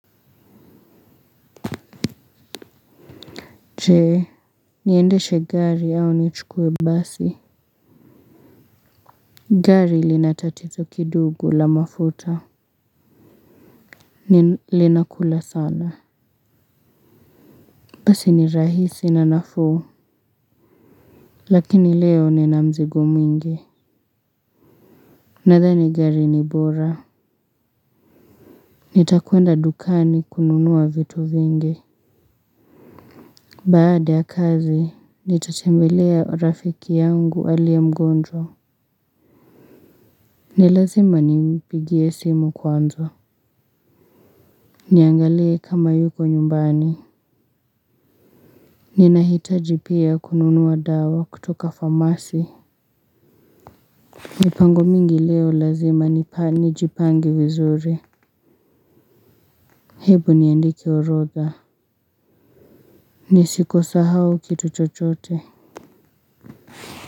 Jee, niendeshe gari au nichukuwe basi. Gari lina tatizo kidogo la mafuta. Linakula sana. Basi ni rahisi na nafuu. Lakini leo nina mzigo mwingi. Nadhani gari ni bora. Nitakwenda dukani kununuwa vitu vingi. Baada ya kazi, nitatembelea rafiki yangu alie mgonjwa. Ni lazima nimpigie simu kwanza. Niangalie kama yuko nyumbani. Ninahitaji pia kununuwa dawa kutoka famasi. Mipango mingi leo lazima nijipange vizuri. Hebu niandike orodha. Nisikosahao kitu chochote.